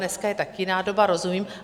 Dneska je taky jiná doba, rozumím.